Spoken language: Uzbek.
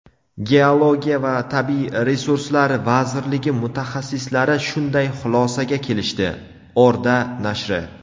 geologiya va tabiiy resurslar vazirligi mutaxassislari shunday xulosaga kelishdi – "Orda" nashri.